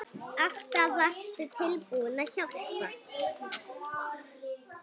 Alltaf varstu tilbúin að hjálpa.